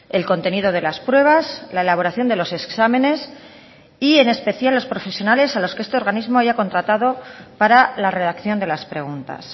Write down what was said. el contenido de las pruebas la elaboración de los exámenes y en especial los profesionales a los que este organismo haya contratado para la redacción de las preguntas